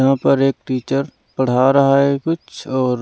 यहाँ पर एक टीचर पढ़ा रहा है कुछ और--